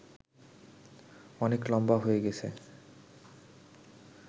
অনেক লম্বা হয়ে গেছে